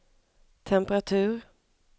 temperatur